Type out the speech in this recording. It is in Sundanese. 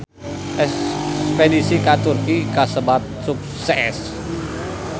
Espedisi ka Turki kasebat sukses